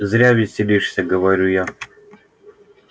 зря веселишься говорю я